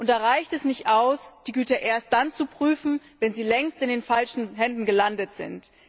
Da reicht es nicht aus, die Güter erst dann zu prüfen, wenn sie längst in den falschen Händen gelandet sind.